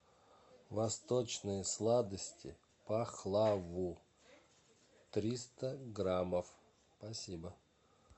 восточные сладости пахлаву триста граммов спасибо